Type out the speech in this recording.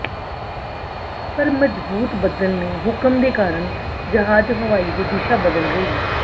ਪਰ ਮਜ਼ਬੂਤ ਬੱਦਲ ਨੇ ਹੁਕਮ ਦੇ ਕਾਰਨ ਜਹਾਜ਼ ਹਵਾਈ ਦੇ ਦਿਸ਼ਾ ਬਦਲ ਗਈ